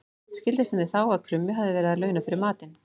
Skildist henni þá að krummi hafði verið að launa fyrir matinn.